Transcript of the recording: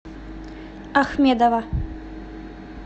ахмедова